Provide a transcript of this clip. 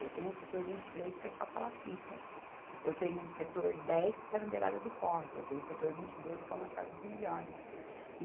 Eu tenho o setor vinte e três que é só palafitas, eu tenho o setor dez que está na beirada do córrego, eu tenho o setor vinte e dois que é umas casas melhores.